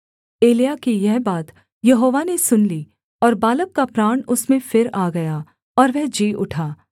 एलिय्याह की यह बात यहोवा ने सुन ली और बालक का प्राण उसमें फिर आ गया और वह जी उठा